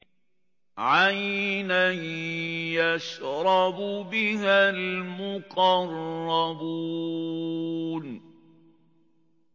عَيْنًا يَشْرَبُ بِهَا الْمُقَرَّبُونَ